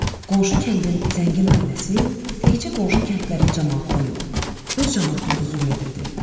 Qonşu kəndin zəngin ailəsi təkcə qonşu kəndlərin camaatına yox, öz camaatına da zülm edirdi.